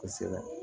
Kosɛbɛ